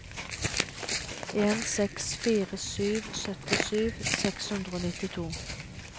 en seks fire sju syttisju seks hundre og nittito